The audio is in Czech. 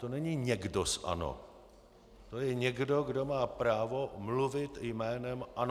To není někdo z ANO, to je někdo, kdo má právo mluvit jménem ANO.